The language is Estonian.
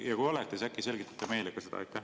Ja kui olete, siis äkki selgitate meile ka seda?